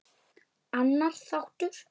Annar þáttur